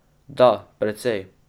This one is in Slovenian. Da, precej.